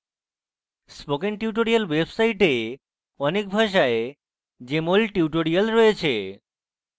spoken tutorial website অনেক ভাষায় jmol tutorial রয়েছে